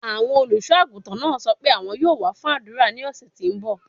Awọn oluso-aguntan naa sọ pe awọn yoo wa fun adura ni ọsẹ ti n bọ